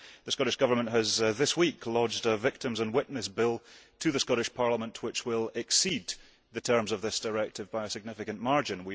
The Scottish Government this week launched a Victims and Witness Bill to the Scottish Parliament which will exceed the terms of this directive by a significant margin.